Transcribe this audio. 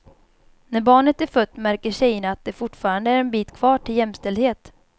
När barnet är fött märker tjejerna att det fortfarande är en bit kvar till jämställdhet.